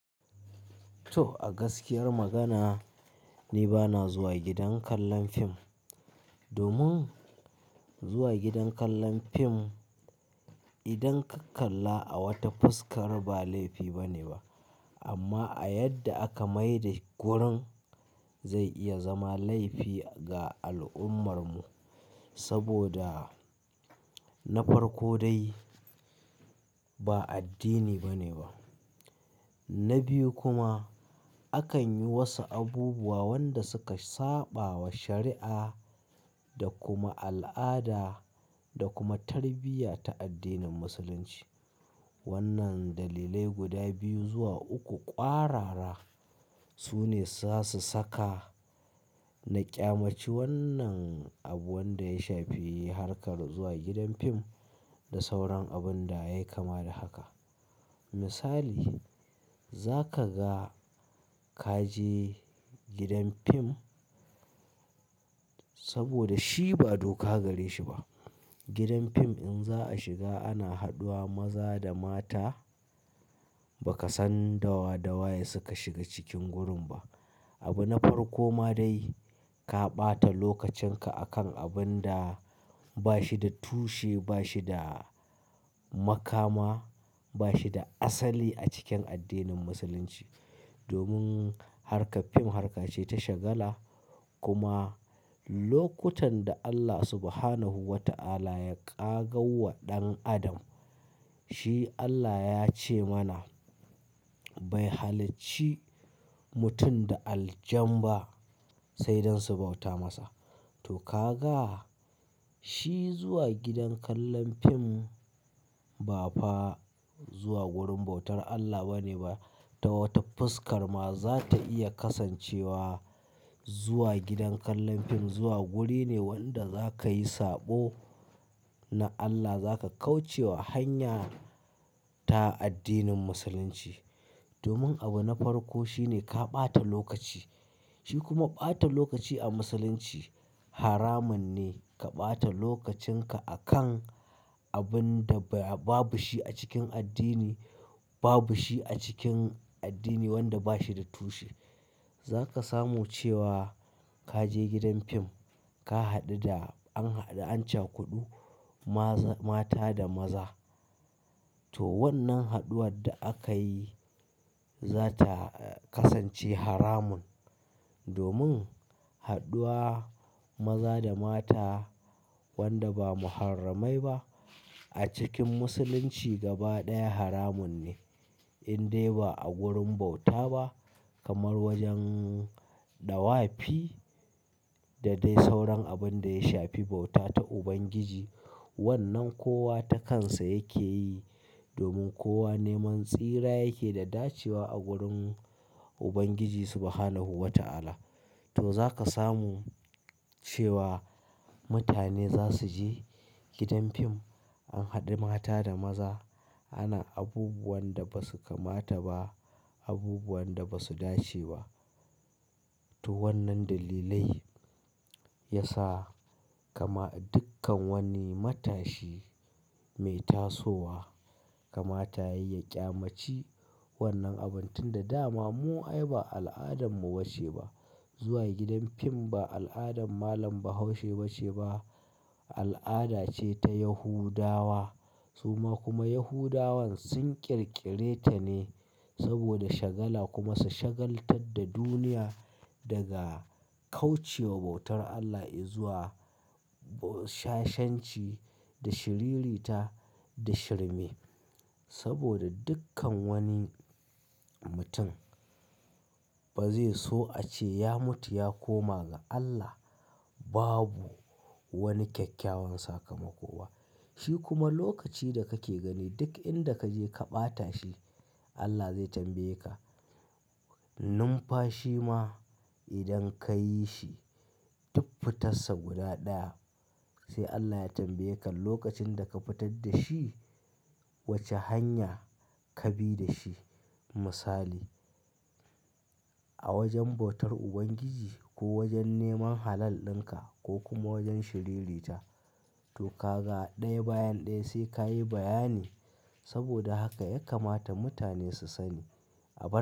Toh, a gaskiyar magana ni bana zuwa gidan kallon fim domin zuwa gidan kallon fim idan ka kalla a wata fuskar ba laifi bane ba. Amma a yadda aka mai da gurin zai iya zama laifi ga al'ummar mu saboda na farko dai ba addini bane ba. Na biyu kuma akan yi wasu abubuwa wanda suka saɓawa shari'a da kuma al'ada da kuma tarbiyya ta addinin musulunci. Wannan dalilai guda biyu zuwa uku ƙwarara su ne zasu saka na ƙyamaci wannan abu wanda ya shafi harkar zuwa gidan fim da sauran abun da yayi kama da haka. Misali za kaga ka je gidan fim saboda shi ba doka gare shi ba. Gidan fim in za a shiga ana haɗuwa maza da mata ba ka san dawa dawa ye suka shiga cikin gurin ba. Abu na farko ma dai ka ɓata lokacin ka akan abun da ba shi da tushe, ba shi da makama, ba shi da asali a cikin addinin musulunci. Domin harkar fim harkace ta shagala kuma lokutan da Allah Subhanahu wa ta'ala ya ƙagauwa ɗan adam shi Allah ya ce mana "Bai halicci mutum da aljan ba sai dan su bauta masa." Toh, kaga shi zuwa gidan kallon fim ba fa zuwa wurin bautar Allah bane ba ta wata fuskar ma za ta iya kasancewa. Zuwa gidan kallon fim zuwa guri ne wanda za ka yi saɓo na Allah. Za ka kauce wa hanya ta addinin musulunci. Domin abu na farko shi ne ka ɓata lokaci. Shi kuma ɓata lokaci a musulunci haramun ne. Ka ɓata lokacin ka akan abun da babu shi a cikin addini, babu shi a cikin addini wanda ba shi da tushe. Za ka samu cewa ka je gidan fim ka haɗu da an haɗu an can kuɗu maza-- mata da maza. Toh, wannan haɗuwar da aka yi za ta kasance haramun. Domin haɗuwa maza da mata wanda ba muharramai ba a cikin musulunci gaba ɗaya haramun ne in dai ba a wurin bauta ba kamar wajen ɗawafi da dai sauran abun da ya shafi bauta ta Ubangiji. Wannan kowa ta kansa yake yi domin kowa neman tsira yake da dacewa a wurin Ubangiji Subhanahu wa ta'ala. Toh za ka samu cewa mutane za su je gidan fim an haɗu mata da maza ana abubuwan da ba su kamata ba, abubuwan da ba su dace ba. Toh wannan dalilai ya sa kama dukkan wani matashi mai tasowa kama ta ya yi ƙyamaci wannan abun tun da dama. Mu ai ba al'adan mu ba ce ba. Zuwa gidan fim ba al'adan malam Bahaushe ba ce ba. Al'ada ce ta Yahudawa. Suma kuma Yahudawan sun ƙirƙire ta ne saboda shagala kuma su shagaltar da duniya daga kauce wa bautar Allah izuwa shashenci da shiriri ta da shirme. Saboda dukkan wani mutum ba zai so a ce ya mutu ya koma ga Allah babu wani kyakkyawan sakamako ba. Shi kuma lokaci da kake gani duk inda ka je ka ɓata shi Allah zai tambaye ka. Numfashi ma idan ka yi shi duk fitarsa guda ɗaya sai Allah ya tambaye ka lokacin da ka fitar da shi wace hanya ka bi da shi. Misali a wajen bautar Ubangiji ko wajen neman halal ɗin ka ko kuma wajen shiriri ta. Toh kaga ɗaya bayan ɗaya sai ka yi bayani saboda haka ya kamata mutane su sani abu.